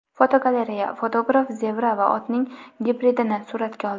Fotogalereya: Fotograf zebra va otning gibridini suratga oldi.